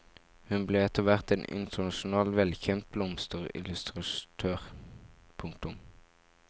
Hun ble etterhvert en internasjonalt velkjent blomsterillustratør. punktum